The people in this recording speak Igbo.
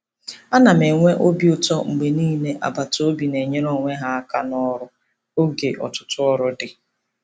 Ana m enwe obi ụtọ mgbe ndị agbataobi na-enyere onwe ha aka n'ọrụ oge ọtụtụ ọrụ dị.